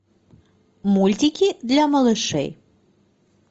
мультики для малышей